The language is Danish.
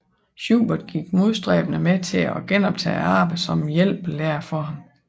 Schubert gik modstræbende med til at genoptage arbejdet som hjælpelærer for ham